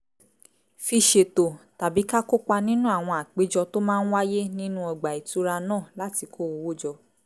fi ṣètò tàbí ká kópa nínú àwọn àpéjọ tó máa ń wáyé nínú ọgbà ìtura náà láti kó owó jọ